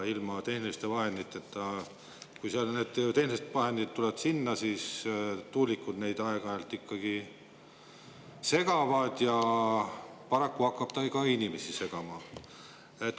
Kui need tehnilised vahendid sinna tulevad, siis tuulikud neid aeg-ajalt ikkagi segavad ja paraku hakkab see ka inimesi segama.